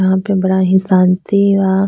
यहां पे बड़ा ही शांति बा।